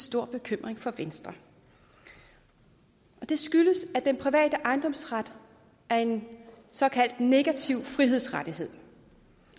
stor bekymring for venstre og det skyldes at den private ejendomsret er en såkaldt negativ frihedsrettighed